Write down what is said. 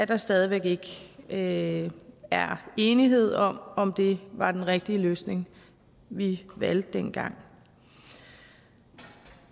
der stadig væk ikke er enighed om om det var den rigtige løsning vi valgte dengang